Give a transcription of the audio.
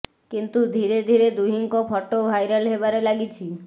କିନ୍ତୁ ଧୀରେ ଧୀରେ ଦୁହିଁଙ୍କ ଫଟୋ ଭାଇରାଲ୍ ହେବାରେ ଲାଗିଛି